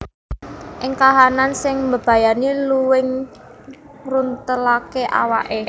Ing kahanan sing mbebayani luwing ngruntelaké awaké